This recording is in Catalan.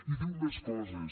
i diu més coses